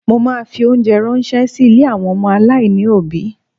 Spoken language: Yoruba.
Mo ma fi óńjẹ ránṣẹ́ sí ilé àwọn ọmọ aláìní òbí.